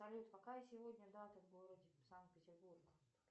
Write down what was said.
салют какая сегодня дата в городе санкт петербург